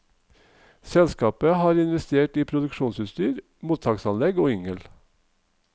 Selskapet har investert i produksjonsutstyr, mottaksanlegg og yngel.